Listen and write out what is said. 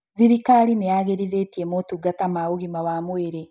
Thirikari nĩyagĩrithĩtie motungata ma ũgima wa mwĩrĩ